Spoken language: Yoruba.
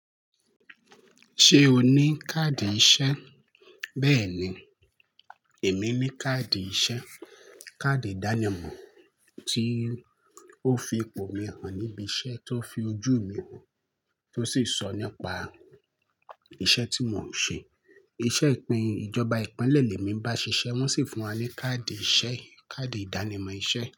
Ṣé o ní káàdì iṣẹ́? Bẹ́ẹ̀ ni, èmi ní káàdì iṣẹ́. Káàdì ìdánimọ̀ tí ó fi ipò mi hàn níbi iṣẹ́, tó fi ojú mi hàn, tó sì sọ nípa iṣẹ́ tí mò ń ṣe. Iṣẹ́ ìpín ìjọba ìpínlẹ̀ lé mi bá ṣiṣẹ́, wọ́n sì fún wa ní káàdì iṣẹ́, káàdì ìdánimọ̀ iṣẹ́.